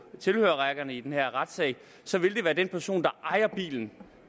tilhørerrækken i den her retssal så vil være den person der ejer bilen